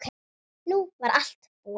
Nú var allt búið.